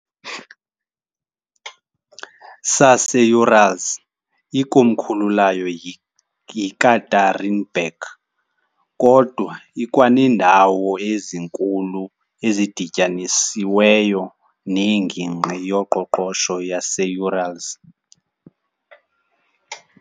saseUrals, ikomkhulu layo yiYekaterinburg, kodwa ikwaneendawo ezinkulu ezidityanisiweyo neNgingqi yoQoqosho yaseUrals .